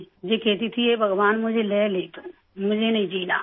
یہ کہتی تھی کہ، ہے بھگوان مجھے لے لے تو، مجھے نہیں جینا